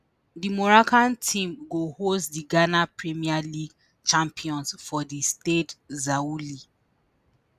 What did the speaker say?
di moroccan team go host di ghana premier league champions for di stade zaouli.